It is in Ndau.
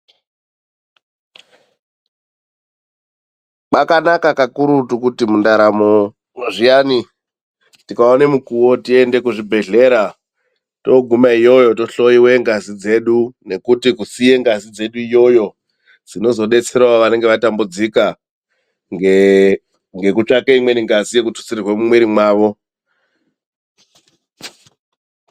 Kwakanaka kakurutu kuti mundaramo zviyani, tikaona mukuwo tiende kuzvibhedhlera. Toguma iyoyo tochihloiwa ngazi dzedu nekuti kusiya ngazi ikweyo zvinozodetserawo vanenge vatambudzika ngekutsvake imweni ngazi yekututsirwa mumwiri mavo .